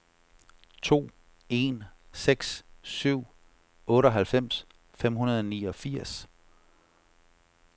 to en seks syv otteoghalvfems fem hundrede og niogfirs